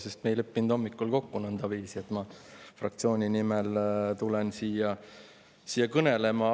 Me ei leppinud hommikul kokku, et ma fraktsiooni nimel siia kõnelema tulen.